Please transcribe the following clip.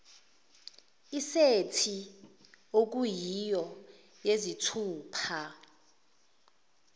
isethi okuyiyo yezithupha